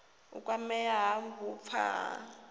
u kwamea ha vhupfa ha